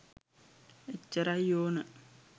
එච්චරයි ඕන